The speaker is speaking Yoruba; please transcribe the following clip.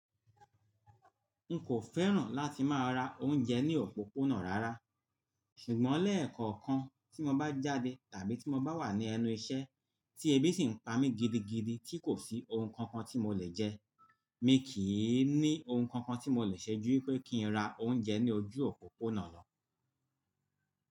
N kò fẹ́ràn láti máa ra oúnjẹ ní òpópónà rárá, ṣùgbọ́n lẹ́ẹ̀kọ̀kan tí mo bá jáde tàbí tí mo bá wà ní ẹnu iṣẹ́ tí ebí sì ń pa mí gidigidi tí kò sí ohun kan kan tí mo lè jẹ, mi kì í ní ohun kan kan tí mo lè ṣẹ́jú pé kí n ra oúnjẹ ní ojú òpópónà lọ.